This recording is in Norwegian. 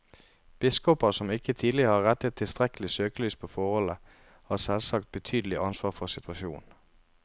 Biskoper som ikke tidligere har rettet tilstrekkelig søkelys på forholdene, har selvsagt betydelig ansvar for situasjonen.